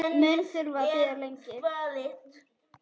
Mun þurfa að bíða lengi.